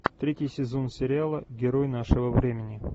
третий сезон сериала герой нашего времени